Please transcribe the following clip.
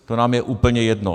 To nám je úplně jedno.